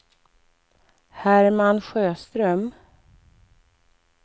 Herman Sjöström